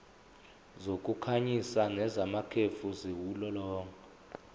zokukhanyisa nezamakhefu ziwulolonga